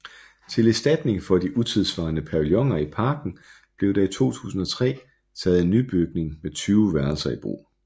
Til erstatning for de utidssvarende pavilloner i parken blev der i 2003 taget en nybygning med 20 værelser i brug